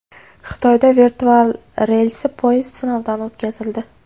Xitoyda virtual relsli poyezd sinovdan o‘tkazildi .